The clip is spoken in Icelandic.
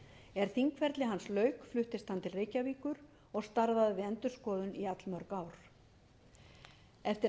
er þingferli hans lauk fluttist hann til reykjavíkur og starfaði við endurskoðun í allmörg ár eftir